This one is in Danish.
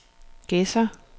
Gedser